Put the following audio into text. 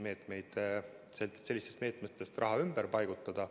Mõistlik on sellistest meetmetest raha ümber paigutada.